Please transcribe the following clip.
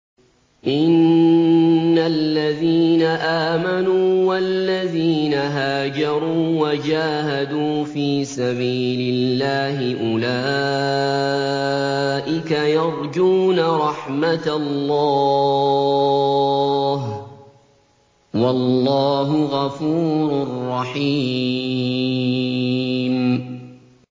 إِنَّ الَّذِينَ آمَنُوا وَالَّذِينَ هَاجَرُوا وَجَاهَدُوا فِي سَبِيلِ اللَّهِ أُولَٰئِكَ يَرْجُونَ رَحْمَتَ اللَّهِ ۚ وَاللَّهُ غَفُورٌ رَّحِيمٌ